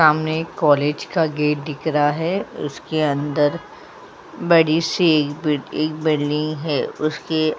सामने एक कॉलेज का गेट दिख रहा है उसके अंदर बड़ी सी एक एक बिल्डिंग है उसके --